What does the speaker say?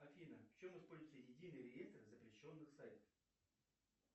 афина в чем используется единый реестр запрещенных сайтов